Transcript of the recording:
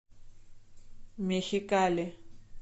мехикали